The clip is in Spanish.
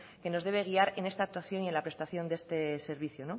que nos debe guiar en esta actuación y la prestación de este servicio